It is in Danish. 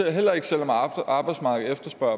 heller ikke selv om arbejdsmarkedet efterspørger